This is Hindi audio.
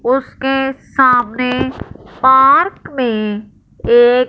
उसके सामने पार्क में एक--